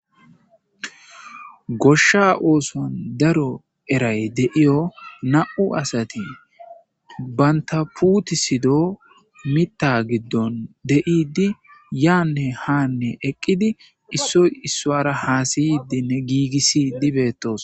Goshsha oosuwn daro eray de7iyo na7u asati banta putisido mitha giddon de7idi yaanne haanne eqqidi issoy issuara haasayidinne giigissidi bettosona.